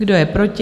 Kdo je proti?